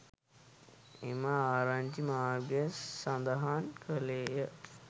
එම ආරංචි මාර්ග සඳහන් කළේය